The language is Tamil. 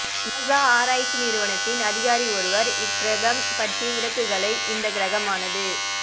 நாசா ஆராய்ச்சி நிறுவனத்தின் அதிகாரி ஒருவர் இக் கிரகம் பற்றி விளக்குகையில் இந்தக் கிரமானது